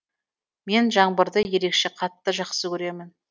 мен жаңбырды ерекше қатты жақсы көремін